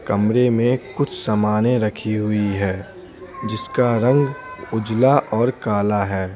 कमरे में कुछ सामानें रखी हुई है जिसका रंग उजला और काला है।